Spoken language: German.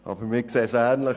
Aber wir sehen es ähnlich.